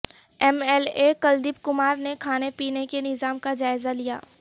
M L A Kuldeep Kumar نے کھانے پینے کے نظام کا جائزہ لیا